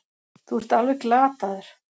Þú ert alveg glataður!